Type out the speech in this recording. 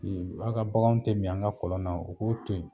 Ee an ka bagan tɛ min an ka kɔlɔn na u k'o to yen